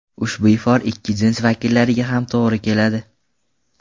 Ushbu ifor ikki jins vakillariga ham to‘g‘ri keladi.